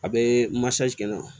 A bɛ kɛ n na